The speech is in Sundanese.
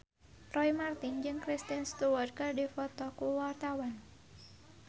Roy Marten jeung Kristen Stewart keur dipoto ku wartawan